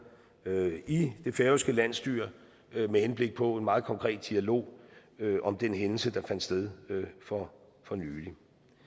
i det færøske landsstyre med henblik på en meget konkret dialog om den hændelse der fandt sted for nylig